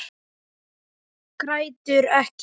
Grætur ekki.